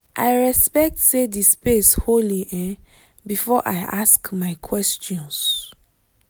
i respect say the space holy um before i ask my questions.